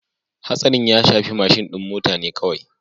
Hatsarin ya shafi mashin din mota ne kawai